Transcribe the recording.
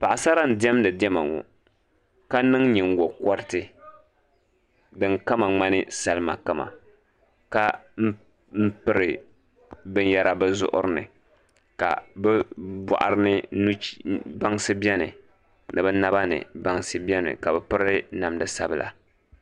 Paɣasara n diɛmdi Diɛma ŋɔ ka niŋ nyingokoriti din kama ŋmani salima kama ka piri binyɛra bi zuɣuri ni ka bi boɣari ni bansi biɛni ni bi naba ni bansi biɛni ka bi piri namda sabila